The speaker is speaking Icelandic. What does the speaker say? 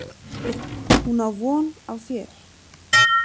Hún á von á þér.